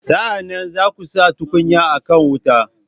Sa'an nan, za ku sa tukunya a kan wuta.